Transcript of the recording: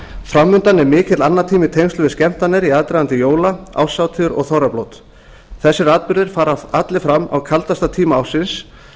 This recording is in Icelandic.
fram undan er mikill annatími í tengslum við skemmtanir í aðdraganda jóla árshátíða og þorrablóta þessir atburðir fara allir fram á kaldasta tíma ársins